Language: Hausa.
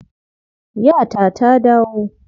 Yata ta dawo.